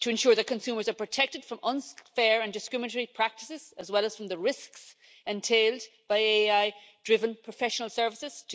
to ensure that consumers are protected from unfair and discriminatory practices, as well as from the risks entailed by AI driven professional services